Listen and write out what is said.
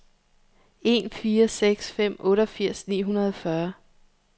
en fire seks fem otteogfirs ni hundrede og fyrre